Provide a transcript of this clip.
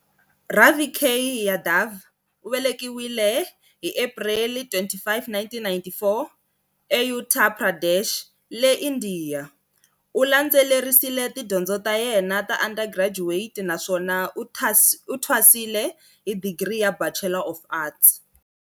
Ravi K. Yadav u velekiwe hi April 25, 1994, eUttar Pradesh, le Indiya. U landzelerisile tidyondzo ta yena ta undergraduate naswona u thwasile hi digri ya Bachelor of Arts.